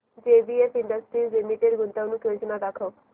JBF industries limited गुंतवणूक योजना दाखव